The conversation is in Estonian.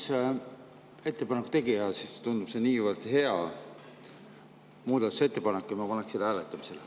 Kuna ma olen üks ettepaneku tegija, siis tundub see niivõrd hea muudatusettepanek, et ma paneksin selle hääletamisele.